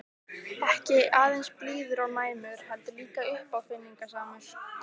Ekki aðeins blíður og næmur- heldur líka uppáfinningasamur.